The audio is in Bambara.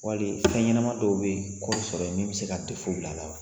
Wali fɛn ɲɛnama dɔw bɛ kɔɔri sɔrɔ ye min bɛ se ka bila a la wa?